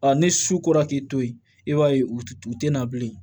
ni su kora k'i to yen i b'a ye u t u te na bilen